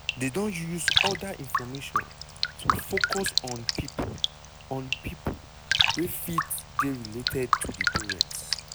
dey don use oda information to focus on pipo on pipo wey fit dey related to di parents.